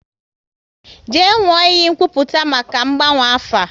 Jee nwụọ iyi nkwupụta maka ngbanwe afa!